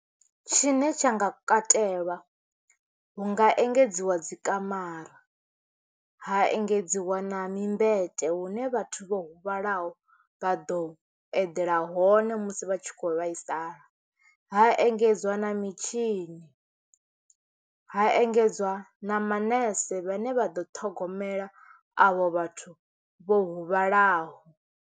Tshine tsha nga katelwa hu nga engedziwa dzi kamara, ha engedziwa na mimbete hune vhathu vho huvhalaho vha ḓo eḓela hone musi vha tshi kho vhaisala, ha engedzwa na mitshini, ha engedzwa na manese vhane vha ḓo ṱhogomela avho vhathu vho huvhalaho.